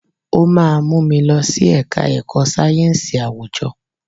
O máa mú mi lọ sí ẹ̀ka ẹ̀kọ́ sáyẹ̀nsì àwùjọ.